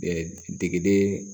degede